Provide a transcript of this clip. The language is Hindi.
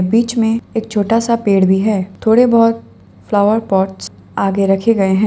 बीच मे एक छोटा सा पेड़ भी है थोड़े बहुत फ्लावर पॉट आगे रखे गए हैं।